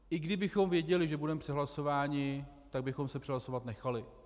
I kdybychom věděli, že budeme přehlasováni, tak bychom se přehlasovat nechali.